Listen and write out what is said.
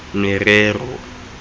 merero